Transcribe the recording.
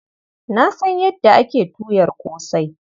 Na san yadda ake tuyar ƙosai.